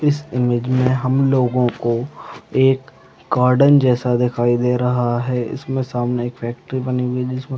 इस इमेज में हम लोगो को एक गार्डन जैसा दिखाई दे रहा है इसमें सामने एक फैक्ट्री बनी हुई है जिसमे--